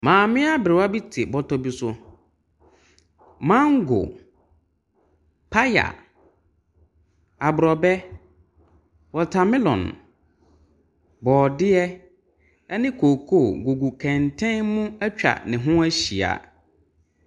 Maame aberewa bi te bɔtɔ bi so. Mango, paya, aborɔbɛ, watermelon, borɔdeɛ ne kooko gugu kɛntɛn mu atwa ne ho ahyia.